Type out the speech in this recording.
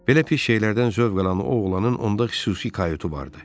Belə pis şeylərdən zövq alan o oğlanın onda xüsusi kayutu var idi.